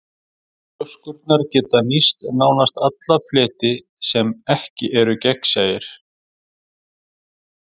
Ljóskurnar geta nýtt nánast alla fleti sem ekki eru gegnsæir.